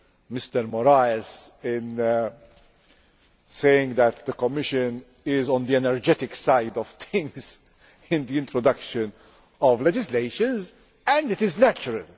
of Mr Moraes saying that the Commission is on the energetic side of things in the introduction of legislation. It is natural.